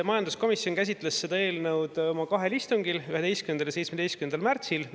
Majanduskomisjon käsitles seda eelnõu kahel istungil, 11. ja 17. märtsil.